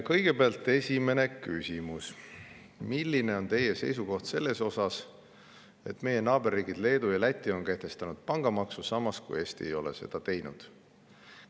Kõigepealt esimene küsimus: "Milline on Teie seisukoht selles osas, et meie naaberriigid Leedu ja Läti on kehtestanud pangamaksu, samas kui Eesti ei ole seda teinud?